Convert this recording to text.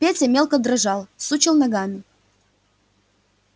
петя мелко дрожал сучил ногами